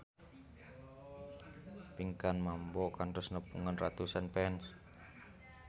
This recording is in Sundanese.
Pinkan Mambo kantos nepungan ratusan fans